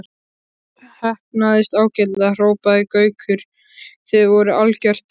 Heppnaðist ágætlega hrópaði Gaukur, þið voruð algjört.